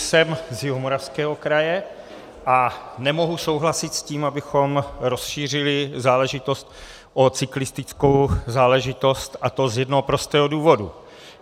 Jsem z Jihomoravského kraje a nemohu souhlasit s tím, abychom rozšířili záležitost o cyklistickou záležitost, a to z jednoho prostého důvodu.